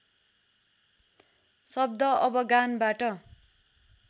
शब्द अवगानबाट